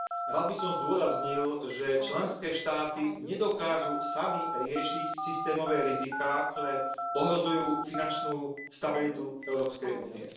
Rád by som zdôraznil, že členské štáty nedokážu sami riešiť systémové riziká, ktoré ohrozujú finančnú stabilitu Európskej únie.